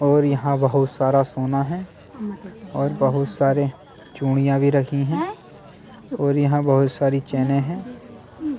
और यहां बहुत सारा सोना है और बहुत सारे चूड़ियां भी रखी हैं और यहां बहुत सारी चैने हैं।